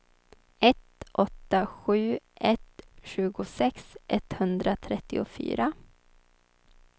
ett åtta sju ett tjugosex etthundratrettiofyra